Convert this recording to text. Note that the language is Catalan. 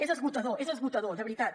és esgotador és esgotador de veritat